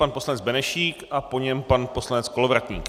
Pan poslanec Benešík a po něm pan poslanec Kolovratník.